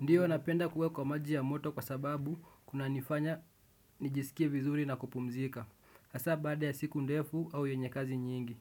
Ndiyo napenda kuwe kwa maji ya moto kwa sababu kuna nifanya nijisikie vizuri na kupumzika hasa baada ya siku ndefu au yenye kazi nyingi.